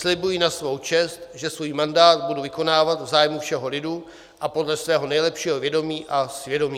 Slibuji na svou čest, že svůj mandát budu vykonávat v zájmu všeho lidu a podle svého nejlepšího vědomí a svědomí."